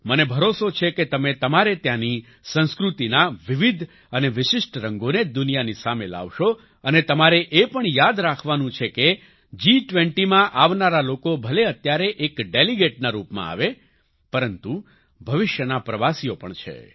મને ભરોસો છે કે તમે તમારે ત્યાંની સંસ્કૃતિના વિવિધ અને વિશિષ્ટ રંગોને દુનિયાની સામે લાવશો અને તમારે એ પણ યાદ રાખવાનું છે કે જી20માં આવનારા લોકો ભલે અત્યારે એક ડેલિગેટના રૂપમાં આવે પરંતુ ભવિષ્યનાં પ્રવાસીઓ પણ છે